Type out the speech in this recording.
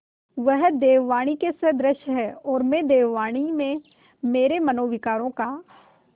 वह देववाणी के सदृश हैऔर देववाणी में मेरे मनोविकारों का